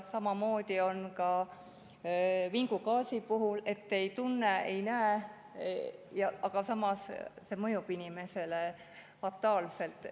Samamoodi on vingugaasiga, mida me ei tunne ega näe, aga samas mõjub see inimesele fataalselt.